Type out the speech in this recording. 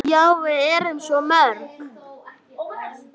Já, við erum svo mörg.